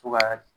To ka